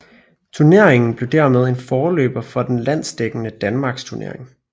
Turneringen blev dermed en forløber for til den landsdækkende Danmarksturneringen